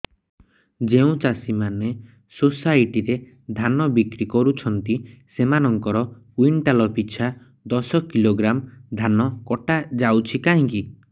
ଯେଉଁ ଚାଷୀ ମାନେ ସୋସାଇଟି ରେ ଧାନ ବିକ୍ରି କରୁଛନ୍ତି ସେମାନଙ୍କର କୁଇଣ୍ଟାଲ ପିଛା ଦଶ କିଲୋଗ୍ରାମ ଧାନ କଟା ଯାଉଛି କାହିଁକି